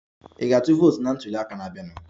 Ị ga-atụ vootu na ntuli aka na-abịanụ?